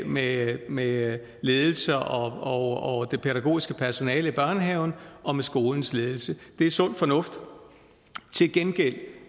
med med ledelsen og det pædagogiske personale i børnehaven og med skolens ledelse det er sund fornuft til gengæld